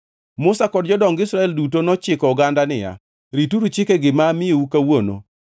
Musa kod jodong Israel duto ne ochiko oganda niya, “Rituru chikegi ma amiyou kawuono